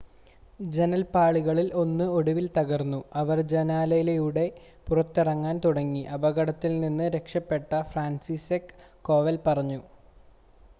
"ജനൽപ്പാളികളിൽ ഒന്ന് ഒടുവിൽ തകർന്നു അവർ ജനാലയിലൂടെ പുറത്തിറങ്ങാൻ തുടങ്ങി," അപകടത്തിൽ നിന്ന് രക്ഷപ്പെട്ട ഫ്രാൻസിസ്സെക് കോവൽ പറഞ്ഞു.